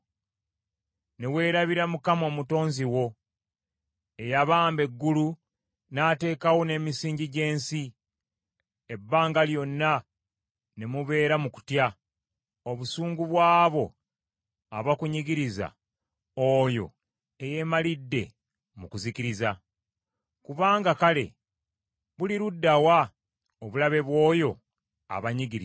ne weerabira Mukama Omutonzi wo eyabamba eggulu, n’ateekawo n’emisingi gy’ensi, ebbanga lyonna ne mubeera mu kutya obusungu bw’abo abakunyigiriza, oyo eyemalidde mu kuzikiriza? Kubanga kale buliruddawa obulabe bw’oyo abanyigiriza?